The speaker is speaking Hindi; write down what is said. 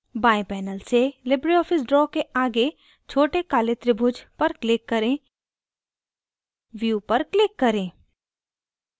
बाएं panel से libreoffice draw के आगे छोटे काले त्रिभुज पर click करें view पर click करें